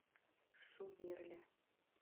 шумерля